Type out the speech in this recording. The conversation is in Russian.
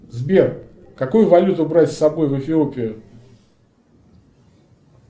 сбер какую валюту брать с собой в эфиопию